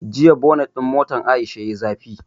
Jiya bonet ɗin motan Aisha yayi zafi